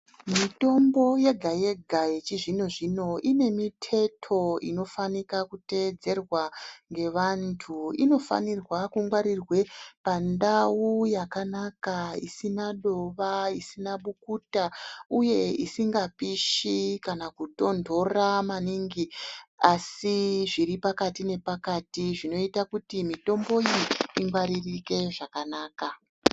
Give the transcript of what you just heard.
Mitombo yega yega yechizvino-zvino ine miteto inofanira kuteedzerwa ngevandu. Inofanirwe kungwarira pandau yakanaka isina dova, isina bukuta uye isingapishi kana kutondora maningi asi zviri pakati nepakati zvinoita kuti mitombo iyi ingwaririke zvakanaka.